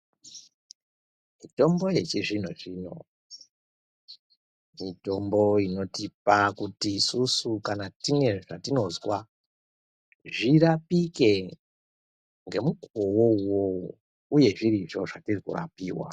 Mitombo yechizvino zvino ,mitombo inotipa kuti isusu kana tine zvatinozwa, zvirapike, ngemukuwowo uwowo uye zvirizvo zvandiri kurapiwa.